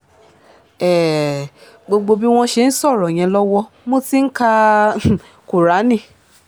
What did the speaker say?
um gbogbo bí wọ́n ṣe ń sọ̀rọ̀ yẹn lọ́wọ́ mo ti ń ka um kúráánì